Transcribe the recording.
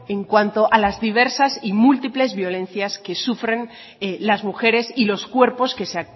en cuanto a las diversas y múltiples violencias que sufren las mujeres y los cuerpos que se